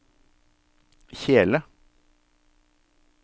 kjele